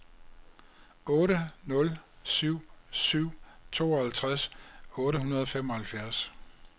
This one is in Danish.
otte nul syv syv tooghalvtreds otte hundrede og femoghalvfjerds